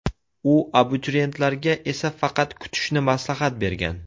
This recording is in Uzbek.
U abituriyentlarga esa faqat kutishni maslahat bergan.